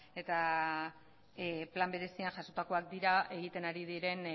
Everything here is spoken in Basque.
eta plan berezian jasotakoak dira egiten ari diren